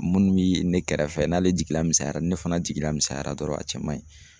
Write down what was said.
Munnu bi ne kɛrɛfɛ n'ale jigila misayara ,ni ne fana jigila misɛnyara dɔrɔn a cɛ man ɲi.